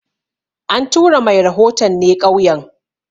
An tura mai rahoton ne ƙauyen